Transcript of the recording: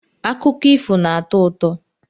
Akụkọ ifo na-atọ ụtọ.